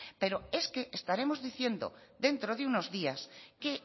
pero es que estaremos diciendo dentro de unos días que